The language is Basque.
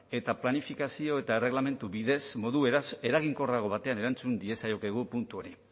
eta planifikazio eta erregelamendu bidez modu beraz eraginkorrago batean erantzun diezaiokegu puntu horri